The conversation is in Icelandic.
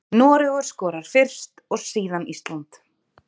Noregur skorar fyrst og síðan Ísland.